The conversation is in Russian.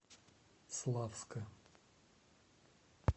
славска